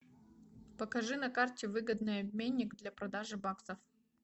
покажи на карте выгодный обменник для продажи баксов